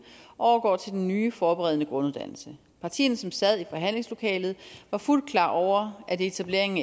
overgår til den nye forberedende grunduddannelse partierne som sad i forhandlingslokalet var fuldt klar over at etableringen